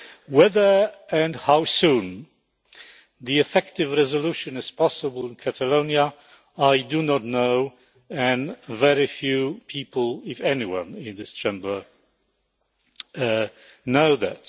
Whether and how soon an effective resolution is possible in Catalonia, I do not know, and very few people, if anyone, in this Chamber knows that.